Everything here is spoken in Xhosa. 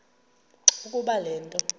ukuba le nto